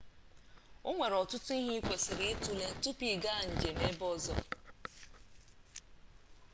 onwere ọtụtụ ihe ị kwesịrị itule tupu ị gaa njem ebe ọzọ